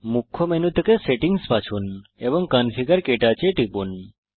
মুখ্য মেনু থেকে সেটিংস বাছুন এবং কনফিগার ক্টাচ এ টিপুন